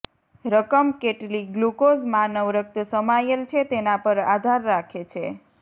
રકમ કેટલી ગ્લુકોઝ માનવ રક્ત સમાયેલ છે તેના પર આધાર રાખે છે